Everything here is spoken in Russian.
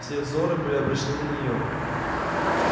все взоры были обращены на нее